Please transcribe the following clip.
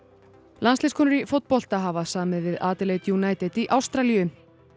landsliðskonur í fótbolta hafa samið við United í Ástralíu